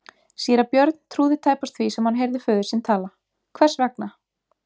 Síra Björn trúði tæpast því sem hann heyrði föður sinn tala:-Hvers vegna!